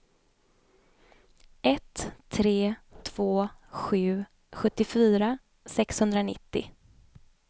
ett tre två sju sjuttiofyra sexhundranittio